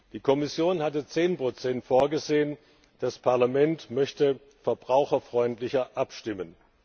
Die Kommission hatte 10nbsp vorgesehen, das Parlament möchte verbraucherfreundlicher abstimmen.